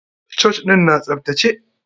Church ɗin na tsaftace.